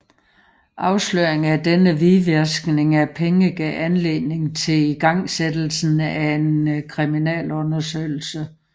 Afsløringen af denne hvidvaskning af penge gav anledning til igangsættelsen af en kriminalundersøgelse